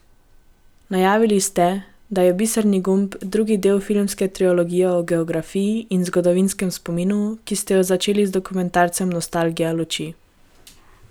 Najavili ste, da je Biserni gumb drugi del filmske trilogije o geografiji in zgodovinskem spominu, ki ste jo začeli z dokumentarcem Nostalgija luči.